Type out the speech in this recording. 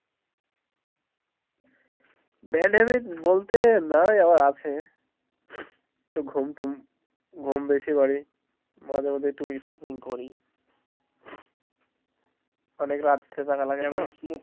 bad habit বলতে নাই আবার আছে তো ঘুম টুম ঘুম বেশি মারি মাঝে মধ্যে একটু নেশা ভাং করি অনেক রাত জাগা লাগেনা।